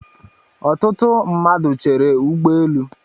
Ọtụtụ mmadụ Chéré ụgbọelu